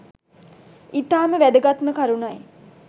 ඉතාම වැදගත්ම කරුණයි.